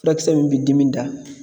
Furakisɛ min bɛ dimi da.